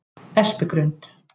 Espigrund